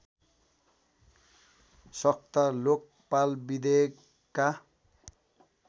सख्त लोकपाल विधेयकका